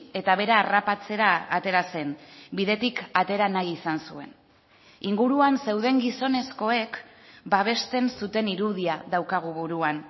eta bera harrapatzera atera zen bidetik atera nahi izan zuen inguruan zeuden gizonezkoek babesten zuten irudia daukagu buruan